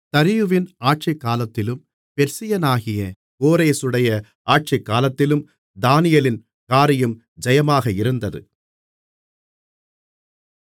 தரியுவின் ஆட்சிக்காலத்திலும் பெர்சியனாகிய கோரேசுடைய ஆட்சிக்காலத்திலும் தானியேலின் காரியம் ஜெயமாக இருந்தது